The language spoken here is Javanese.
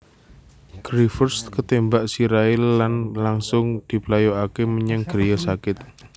Giffords ketémbak sirahé lan langsung diplayokaké menyang griya sakit